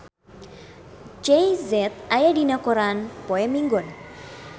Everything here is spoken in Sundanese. Jay Z aya dina koran poe Minggon